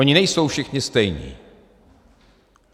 Oni nejsou všichni stejní.